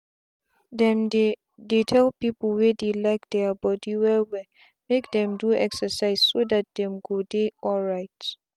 them they they tell people wey like their body well wellmake them do excerciseso that them go dey alright.